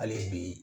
Hali bi